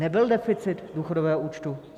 Nebyl deficit důchodového účtu.